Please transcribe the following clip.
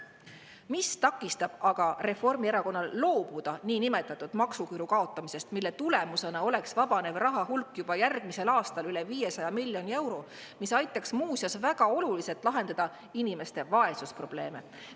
Mis takistab aga Reformierakonnal loobuda niinimetatud maksuküüru kaotamisest, mille tulemusena oleks vabanev raha hulk juba järgmisel aastal üle 500 miljoni euro, mis aitaks muuseas väga oluliselt lahendada inimeste vaesusprobleeme?